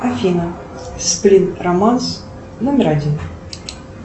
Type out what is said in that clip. афина сплин романс номер один